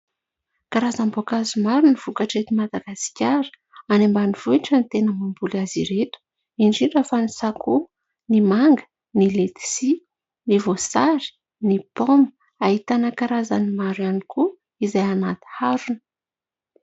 Karazam-boankazo maro no vokatra eto Madagasikara. Any ambanivohitra no tena mamboly azy ireto, indrindra fa ny sakoa, ny manga ny, letsia, ny voasary, ny paoma. Ahitana karazany maro ihany koa izay anaty harona.